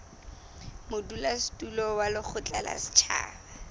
modulasetulo wa lekgotla la setjhaba